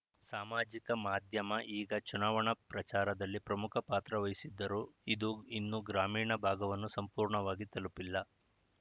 ಸಾಮಾಜಿಕ ಮಾಧ್ಯಮ ಈಗ ಚುನಾವಣಾ ಪ್ರಚಾರದಲ್ಲಿ ಪ್ರಮುಖ ಪಾತ್ರ ವಹಿಸಿದ್ದರೂ ಇದು ಇನ್ನೂ ಗ್ರಾಮೀಣ ಭಾಗವನ್ನು ಸಂಪೂರ್ಣವಾಗಿ ತಲುಪಿಲ್ಲ